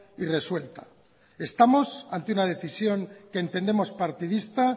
y resuelta estamos ante una decisión que entendemos partidista